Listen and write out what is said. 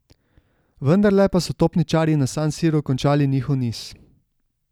Vendarle pa so topničarji na San Siru končali njihov niz.